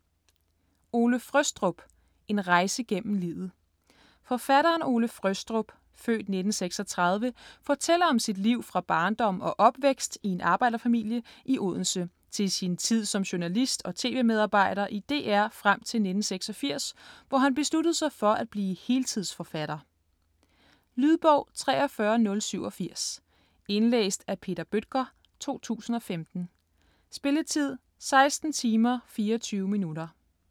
Frøstrup, Ole: En rejse gennem livet Forfatteren Ole Frøstrup (f. 1936) fortæller om sit liv fra barndom og opvækst i en arbejderfamilie i Odense, til sin tid som journalist og tv-medarbejder i DR frem til 1986, hvor han besluttede sig for at blive heltidsforfatter. Lydbog 43087 Indlæst af Peter Bøttger, 2015. Spilletid: 16 timer, 24 minutter.